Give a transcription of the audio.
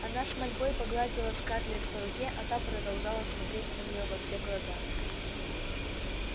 она с мольбой погладила скарлетт по руке а та продолжала смотреть на неё во все глаза